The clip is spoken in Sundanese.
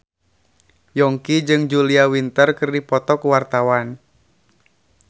Yongki jeung Julia Winter keur dipoto ku wartawan